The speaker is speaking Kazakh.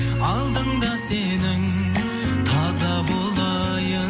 алдыңда сенің таза болайын